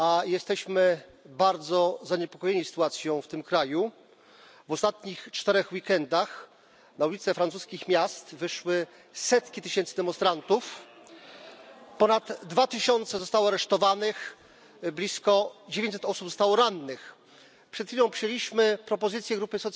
Jesteśmy bardzo zaniepokojeni sytuacją w tym kraju. W ciągu ostatnich czterech weekendów na ulice francuskich miast wyszły setki tysięcy demonstrantów, ponad dwa tysiące zostało aresztowanych, blisko 900 osób zostało rannych. Przed chwilą przyjęliśmy propozycję grupy